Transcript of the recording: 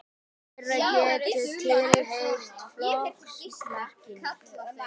fleira getur tilheyrt flokksmerkinu